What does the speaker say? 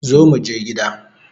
Zo muje gida